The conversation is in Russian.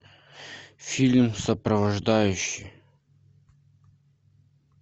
фильм сопровождающий